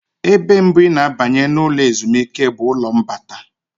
Ebe mbụ ị na-abanye na ụlọ ezumike bụ ụlọ mbata.